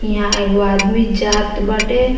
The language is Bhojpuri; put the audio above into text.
यहाँ एगो आदमी जात बाटे।